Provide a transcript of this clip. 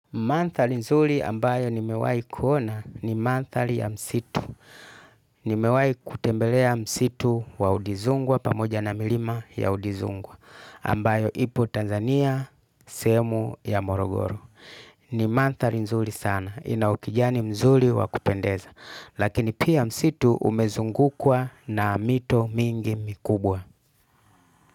Manthali nzuli ambayo ni mewai kuona ni manthali ya msitu. Ni mewai kutembelea msitu wa udizungwa pamoja na milima ya udizungwa ambayo ipo Tanzania, sehemu ya morogoro. Ni manthali nzuli sana, inaokijani mzuli wa kupendeza. Lakini pia msitu umezungukwa na mito mingi mikubwa.